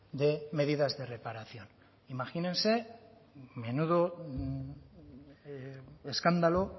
de medidas de reparación imagínense menudo escándalo